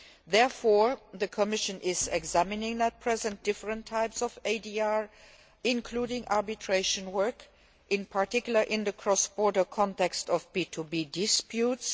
Therefore the Commission is at present examining different types of ADR, including arbitration work, in particular in the cross border context of B2B disputes.